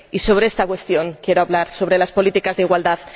Y sobre esta cuestión quiero hablar, sobre las políticas de igualdad.